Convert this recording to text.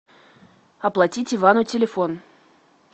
оплатить ивану телефон